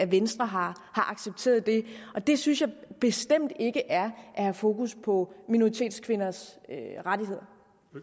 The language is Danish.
venstre har accepteret det det synes jeg bestemt ikke er at have fokus på minoritetskvinders rettigheder